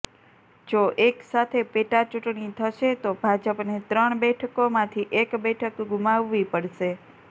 જો એક સાથે પેટાચૂંટણી થશે તો ભાજપને ત્રણ બેઠકોમાંથી એક બેઠક ગુમાવવી પડશે